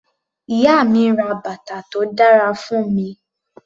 Ìyá mi ra bàtà tó dára fún mi.